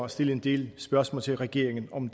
stille en del spørgsmål til regeringen om